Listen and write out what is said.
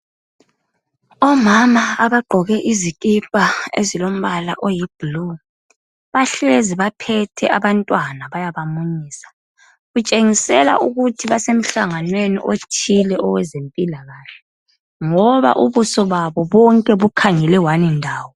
Omama abaqoke izikipa ezilombala oyi blue, bahlezi baphethe abantwana bayabamunyisa kutshengisela ukuthi basemhlangwaneni othile owezempilakahle ngoba ubuso babo bonke bukhangele 1 ndawo.